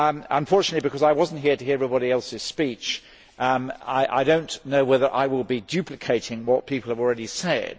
Unfortunately, because I was not here to hear everybody else's speeches, I do not know whether I will be duplicating what people have already said.